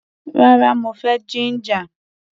Rárá, mo fẹ́ jíńjà.